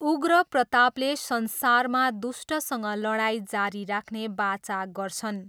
उग्र प्रतापले संसारमा दुष्टसँग लडाइँ जारी राख्ने वाचा गर्छन्।